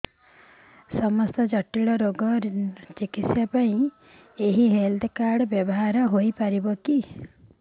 ସମସ୍ତ ଜଟିଳ ରୋଗର ଚିକିତ୍ସା ପାଇଁ ଏହି ହେଲ୍ଥ କାର୍ଡ ବ୍ୟବହାର ହୋଇପାରିବ